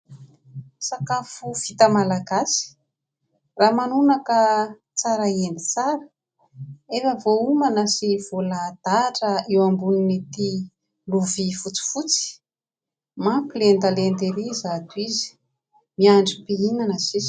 Sakafo vita malagasy, ramanonaka tsara endy tsara. Efa voaomana sy voalahadahatra eo ambonin'ity lovia fotsifotsy. Mampilendalenda erỳ izato izy, miandry mpihinana sisa.